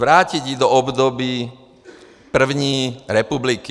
Vrátit ji do období první republiky.